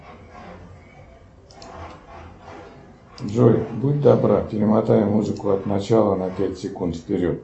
джой будь добра перемотай музыку от начала на пять секунд вперед